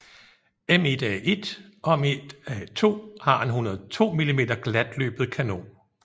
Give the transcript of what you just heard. M1A1 og M1A2 har en 120 mm glatløbet kanon